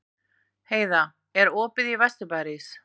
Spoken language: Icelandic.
Heida, er opið í Vesturbæjarís?